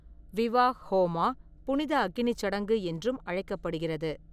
விவாஹ்-ஹோமா 'புனித அக்கினிச் சடங்கு' என்றும் அழைக்கப்படுகிறது.